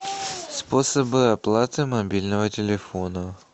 способы оплаты мобильного телефона